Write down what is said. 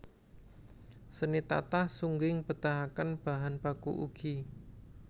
Seni tatah sungging betahaken bahan baku ugi